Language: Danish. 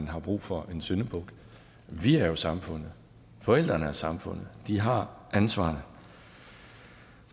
har brug for en syndebuk vi er jo samfundet forældrene er samfundet vi har ansvaret